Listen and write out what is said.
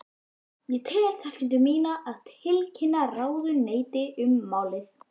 Ég tel það skyldu mína að tilkynna ráðuneytinu um málið.